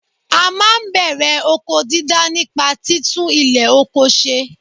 À máa n bèrè oko dídá nípa títún ilè ọkọ se